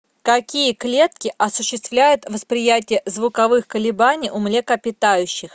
какие клетки осуществляют восприятие звуковых колебаний у млекопитающих